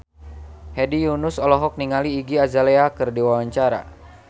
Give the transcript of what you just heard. Hedi Yunus olohok ningali Iggy Azalea keur diwawancara